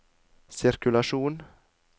sirkulasjon